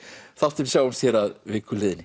þáttinn við sjáumst hér að viku liðinni